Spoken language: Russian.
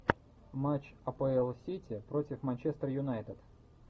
матч апл сити против манчестер юнайтед